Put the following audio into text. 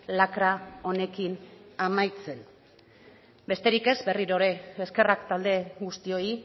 lakra honekin amaitzen besterik ez berriro ere eskerrak talde guztioi